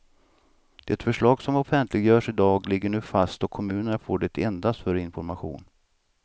Det förslag som offentliggörs idag ligger nu fast och kommunerna får det endast för information.